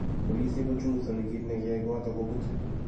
Polisiek kochunguzani kit nikiya koatok kobut.